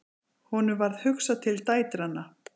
Honum varð hugsað til dætranna.